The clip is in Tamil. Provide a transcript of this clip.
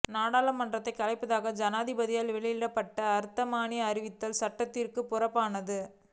பாராளுமன்றத்தைக் கலைப்பதாக ஜனாதிபதியால் வெளியிடப்பட்ட வர்த்தமானி அறிவித்தல் சட்டத்திற்குப் புறம்பானது